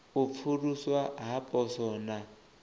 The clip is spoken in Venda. u pfuluswa ha poswo na